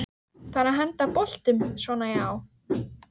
það er að henda boltum svona já